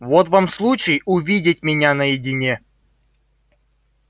вот вам случай увидеть меня наедине